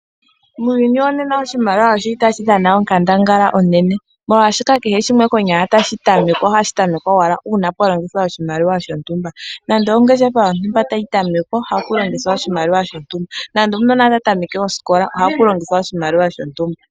Muuyuni wonena oshimaliwa otashi dhana onkandangala onene, molwashoka kehe shimwe konyala tashi tamekwa ohashi tamekwa owala uuna pwa longithwa oshimaliwa shontumba nando ongeshefa yontumba tayi tamekwa ohapu longithwa oshimaliwa shontumba; nando okanona taka tameke osikola ohapu longithwa oshimaliwa shontumba.